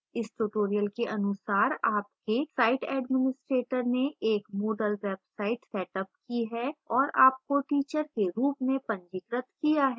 इस tutorial के अनुसार आपके site administrator ने एक moodle वेबसाइट सेटअप की है और आपको teacher के रूप में पंजीकृत किया है